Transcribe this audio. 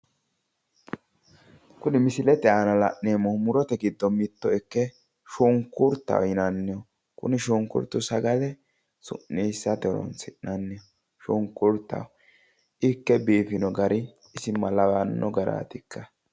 kuni misilete aana la'neemmohu murote giddo mitto ikke shunkurtaho yinanniho kuni shunkurtu sagale su'niissate horonsi'naniho shunkurtaho ikke biifino gari isi malawanno garaatikka.